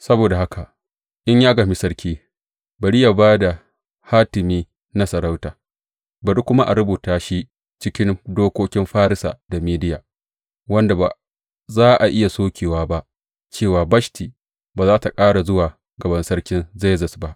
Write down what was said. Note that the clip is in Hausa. Saboda haka, in ya gamshi sarki, bari yă ba da hatimi na sarauta, bari kuma a rubuta shi cikin dokokin Farisa da Mediya, wanda ba za a iya sokewa ba, cewa Bashti ba za tă ƙara zuwa gaban sarkin Zerzes ba.